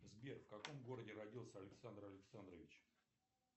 сбер в каком городе родился александр александрович